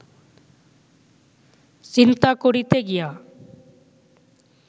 চিন্তা করিতে গিয়া